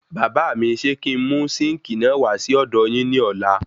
Bàbá míi ṣe kí n mú sínkìì náà wà sí ọdọ yín ní ọ̀la?